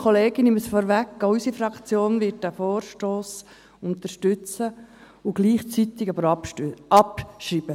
Auch unsere Fraktion wird diesen Vorstoss unterstützen, aber gleichzeitig abschreiben.